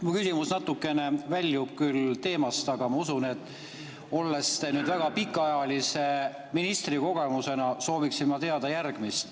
Mu küsimus natukene väljub küll teemast, aga väga pikaajalise ministrikogemusega, sooviksin ma teada järgmist.